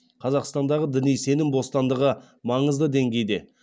қазақстандағы діни сенім бостандығы маңызды деңгейде